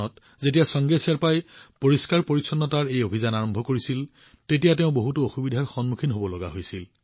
যেতিয়া চাংগে শ্বেৰ্পাজীয়ে ২০০৮ চনত পৰিষ্কাৰপৰিচ্ছন্নতাৰ এই অভিযান আৰম্ভ কৰিছিল তেতিয়া তেওঁ বহুতো অসুবিধাৰ সন্মুখীন হব লগা হৈছিল